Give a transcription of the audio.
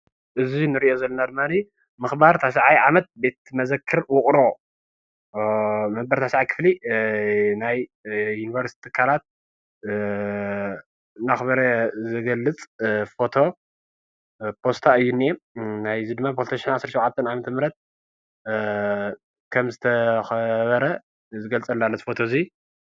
እዚ ንርእዮ ዘለና ድማኒ ምኻባር ታሽዓይ ዓመት ቤት መዘክር ውቅሮ መበል ታሽዓይ ክፍሊ ናይ ዩኒቨርስቲ ትካላት እናኽበረ ዝገልፅ ፎቶ ፖስታ እዩ ዝኒአ። ናይ እዙይ ድማ ብ 2017 ዓ/ም ከም ዝተኸበረ ዝገልፀልና ኣሎ እዚ ፎቶ እዙይ።